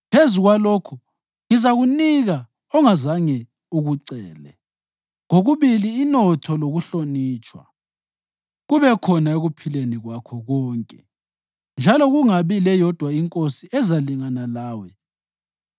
Phezu kwalokho, ngizakunika ongazange ukucele, kokubili inotho lokuhlonitshwa, kube khona ekuphileni kwakho konke njalo kungabi leyodwa inkosi ezalingana lawe.